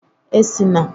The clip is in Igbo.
E si na